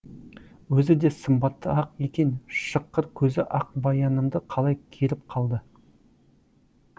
өзі де сымбатты ақ екен шыққыр көзі ақбаянымды қалай керіп қалды